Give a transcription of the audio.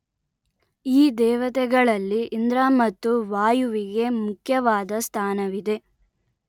ಈ ದೇವತೆಗಳಲ್ಲಿ ಇಂದ್ರ ಮತ್ತು ವಾಯುವಿಗೆ ಮುಖ್ಯವಾದ ಸ್ಥಾನವಿದೆ